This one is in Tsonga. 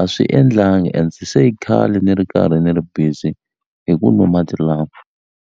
a swi endlangi and se i khale ni ri karhi ni ri busy hi ku nwa mati lama.